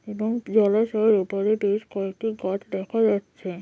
এবং জলাশয়ের ওপারে বেশ কয়েকটি গাছ দেখা যাচ্ছে ।